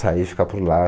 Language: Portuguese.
Sair e ficar por lá.